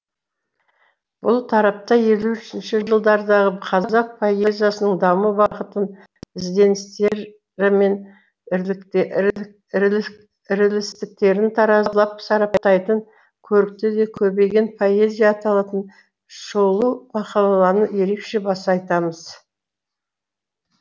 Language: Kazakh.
бұл тарапта елуінші жылдардағы қазақ поэзиясының даму бағытын ізденістері мен ірілістіктерін таразылап сараптайтын көрікті де көбеген поэзия аталатын шолу мақалаланы ерекше баса айтамыз